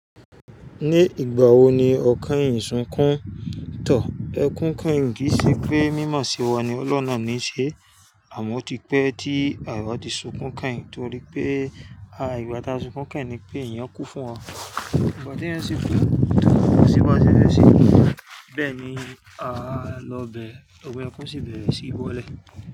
Ní ìgbà wo ni ọ kèyìn sunkún tàn? Ẹkún keyin ki ṣe pé, mímọ̀ sí wa ni ọlọ́un na níí ṣe, àmọ́ o ti pẹ́ tí àwà ti sunkún keyìn. Torí pé, à igbà tá sunkún keyìn ni pé èyàn kú fún wa. Ìgbà tí ẹ́yan sinkún to, ko sí bá ṣẹ fẹ se, bẹ́ẹ̀ ni a lọ bẹ̀ ọmi ekun kún sí bẹ̀re sí bọ́lẹ̀